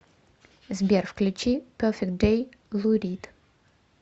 сбер включи перфект дэй лу рид